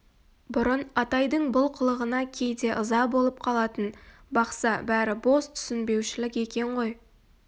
бұрын атайдың бұл қылығына кейде ыза болып қалатын бақса бәрі бос түсінбеушілік екен ғой